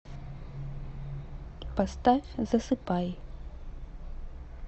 поставь засыпай